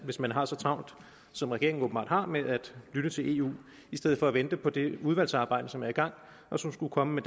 hvis man har så travlt som regeringen åbenbart har med at lytte til eu i stedet for at vente på det udvalgsarbejde som er i gang og som skulle komme med